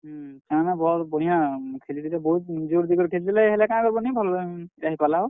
ହୁଁ, ସେମାନେ ଭଲ୍ ବଢିଆ ଖେଲିଥିଲେ, ବହୁତ୍ ଜୋର୍ ଦେଇକରି ଖେଲିଥିଲେ ହେଲେ କେଁ କରବୁ ନି ଭଲ୍, ହେଇ ପାର୍ ଲା ହୋ।